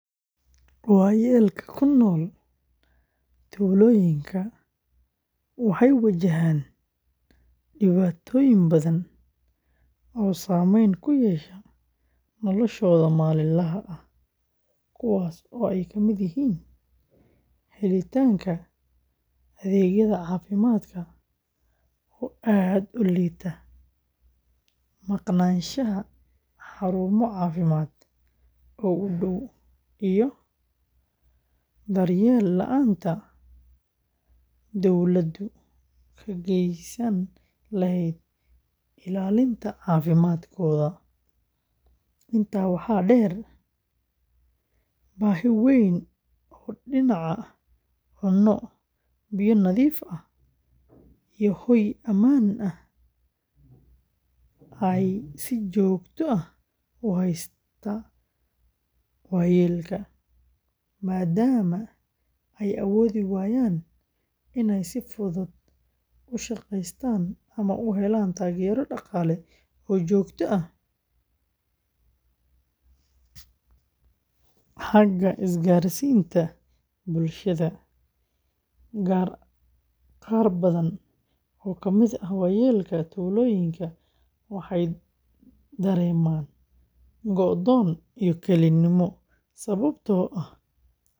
Waayeelka ku nool tuulooyinka waxay wajahaan dhibaatooyin badan oo saameyn ku yeesha noloshooda maalinlaha ah, kuwaas oo ay ka mid yihiin helitaanka adeegyada caafimaadka oo aad u liita, maqnaanshaha xarumo caafimaad oo u dhow, iyo daryeel la’aanta dawladdu ka gaysan lahayd ilaalinta caafimaadkooda. Intaa waxaa dheer, baahi weyn oo dhinaca cunno, biyo nadiif ah, iyo hoy ammaan ah ayaa si joogto ah u haysata waayeelka, maadaama ay awoodi waayaan inay si fudud u shaqeystaan ama u helaan taageero dhaqaale oo joogto ah. Xagga isgaarsiinta bulshada, qaar badan oo ka mid ah waayeelka tuulooyinka waxay dareemaan go’doon iyo kelinimo sababtoo ah carruurtoodii.